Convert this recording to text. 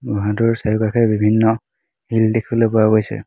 গুহাটোৰ চাৰিওকাষে বিভিন্ন শিল দেখিবলৈ পোৱা গৈছে।